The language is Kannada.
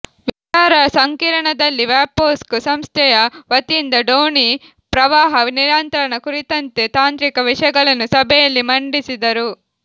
ವಿಚಾರ ಸಂಕಿರಣದಲ್ಲಿ ವ್ಯಾಪ್ಕೋಸ್ಕ್ ಸಂಸ್ಥೆಯ ವತಿಯಿಂದ ಡೋಣಿ ಪ್ರವಾಹ ನಿಯಂತ್ರಣ ಕುರಿತಂತೆ ತಾಂತ್ರಿಕ ವಿಷಯಗಳನ್ನು ಸಭೆಯಲ್ಲಿ ಮಂಡಿಸಿದರು